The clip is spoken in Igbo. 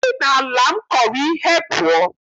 Si n'ala m kọrọ ihe pụọ!